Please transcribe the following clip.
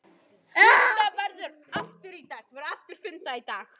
Fundað verður aftur í dag.